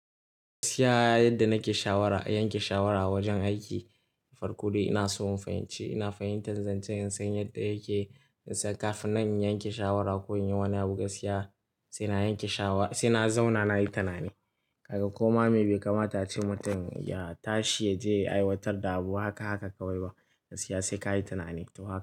Gaskiya yadda nake shawara, yanke shawara a wajen aiki farko dai ina so in fahimci, ina fahimtar zancen nsan yadda yake. Se kafin na yanke shawara ko in yi wani abu gaskiya sai na yanke shawa-- sai na zauna nayi tanani. Kaga koma me bai kamata ace mutum ya tashi ya je ya aiwatar da abu haka haka kawai ba. Gaskiya sai ka yi tanani.